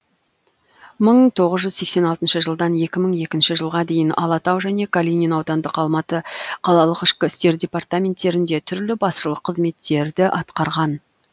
мыңм тоғыз жүз сексен алтыншы жылдан екі мың екінші жылға дейін алатау және калинин аудандық алматы қалалық ішкі істер департаменттерінде түрлі басшылық қызметтерді атқарған